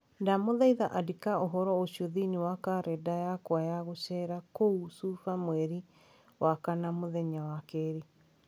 Ndamũthaitha andĩka ũhoro ũcio thĩinĩ wa kalendarĩ yakwa ya gũceera kũu Cuba mweri wa kana, mũthenya wa kerĩ